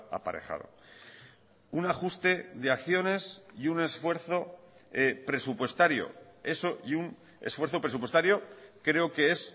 aparejado un ajuste acciones y un esfuerzo presupuestario creo que es